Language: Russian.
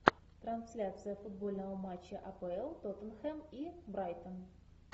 трансляция футбольного матча апл тоттенхэм и брайтон